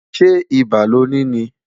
ṣé ibà loni ní?